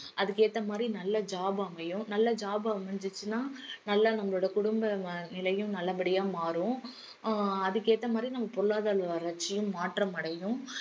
அதுக்கேத்த மாதிரி நல்ல job அமையும் நல்ல job அமைஞ்சிச்சுனா நல்ல நம்மளோட குடும்ப ம~ நிலையும் நல்லபடியா மாறும் அஹ் அதுக்கேத்த மாதிரி நம்ம பொருளாதார வளர்ச்சியும் மாற்றமடையும்